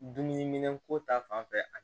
Dumuniminɛnko ta fanfɛ